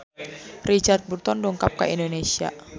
Richard Burton dongkap ka Indonesia